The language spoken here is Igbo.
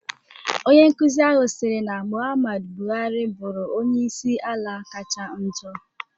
Onye nkuzi ahụ siri na Mụhammadu Bụhari bụrụ onyeisi ala kacha njo.